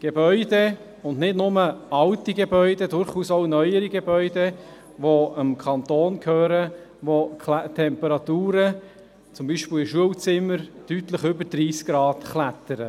Gebäude und nicht nur alte Gebäude, durchaus auch neuere Gebäude, die dem Kanton gehören, in denen die Temperaturen – zum Beispiel in Schulzimmern – deutlich über 30 Grad klettern.